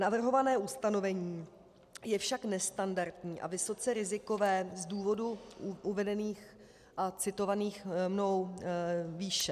Navrhované ustanovení je však nestandardní a vysoce rizikové z důvodů uvedených a citovaných mnou výše.